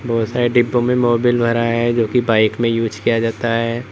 बहुत सारे डिब्बों मोबिल भरा है जोकि बाइक में यूज किया जाता है।